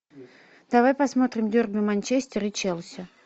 давай посмотрим дерби манчестер и челси